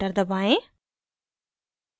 enter दबाएं